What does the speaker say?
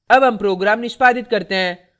अब हम program निष्पादित करते हैं